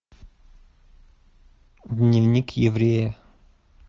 дневник еврея